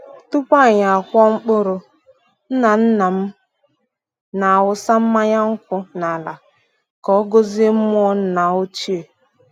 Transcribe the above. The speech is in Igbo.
Tupu anyi akụọ mkpụrụ, nna-nna m na-awụsa mmanya nkwụ n’ala ka ọ gọzie mmụọ nna ochie.